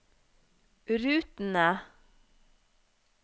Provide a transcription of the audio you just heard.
rutene